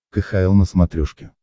кхл на смотрешке